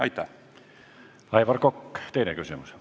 Aivar Kokk, teine küsimus.